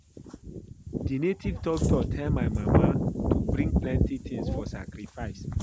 The native doctor tell my mama to bring plenty things for sacrifice